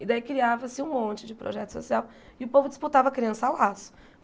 E daí criava-se um monte de projeto social e o povo disputava criança a laço.